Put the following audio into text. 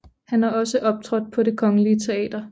Han har også optrådt på Det kongelige Teater